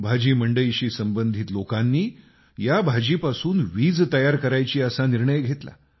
भाजी मंडईशी संबंधित लोकांनी या भाजीपासून वीज तयार करायची असा निर्णय घेतला